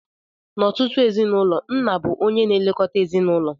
N'ọtụtụ ezinụlọ, nna bụ onye na-elekọta ezinụlọ